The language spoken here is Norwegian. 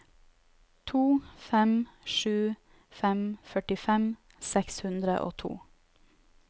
to fem sju fem førtifem seks hundre og to